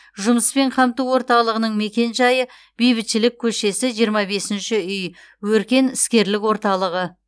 жұмыспен қамту орталығының мекенжайы бейбітшілік көшесі жиырма бесінші үй өркен іскерлік орталығы